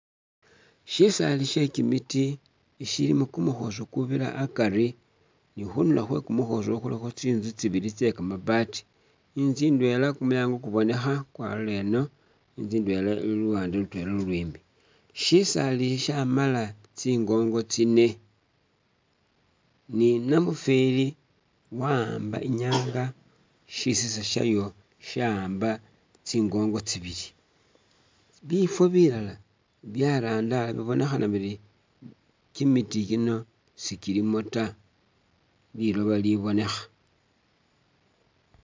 Shisaali she'kimiti ishilimo kumukhosi kubira akari ,ni khundulo khwe kumukhosi ukhwo khulikho tsinzu tsibili tse kamabaati, inzu indwela kumulyango kubonekha kwalola eno, inzu indwela ili luwande lutwela lulwimbi ,shisaali shamala tsingongo tsine ,ni namufeli wa'amba inyanga shisinza shayo sha'amba tsinguubo tsibili ,bifo bilala byarandala bibonekhana biri kimiti kino sikilimo ta liloba libonekha